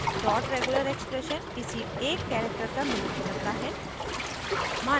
dot regular expression किसी एक character का मिलान करता है